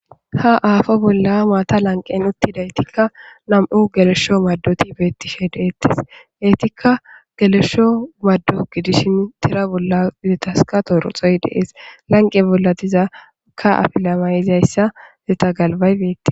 ha aafo bolla maata lanqen uttidaytikka nam7u gelesho maddoti beetti shedeettes geetikka gelesho maddo gidishin tira bolla gidetaska toroxoy dees lanqe bolla dizaka afilamay7izayssa zeta galbay beetti